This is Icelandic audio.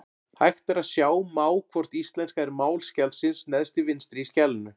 Hægt er að sjá má hvort íslenska er mál skjalsins neðst til vinstri í skjalinu.